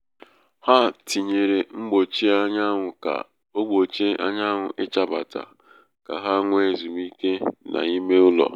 ha tinyere mgbochi anwụ ka ọ gbochie anyanwụ ịchabata ka ha nwee ezumike n'ime ụlọ.